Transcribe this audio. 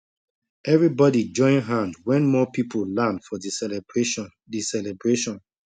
everybody join hand when more people land for the celebration the celebration